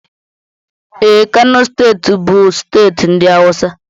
Ee, Kano steeti bụ steeti ndị awụsa